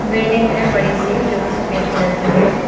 Building है बड़ी सी जो कि सफेद कलर की है।